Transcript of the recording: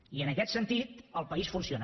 i en aquest sentit el país funciona